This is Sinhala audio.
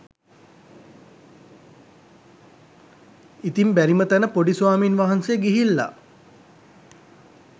ඉතින් බැරිම තැන පොඩි ස්වාමීන් වහන්සේ ගිහිල්ලා